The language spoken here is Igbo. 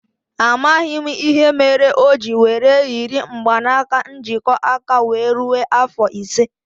A maghị m ìhè méré oji were yiri mgbanaka njikọ aka wéé rue afọ ise